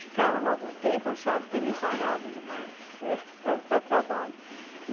Ficaram lá algum tempo, acharam também parado demais para trabalho.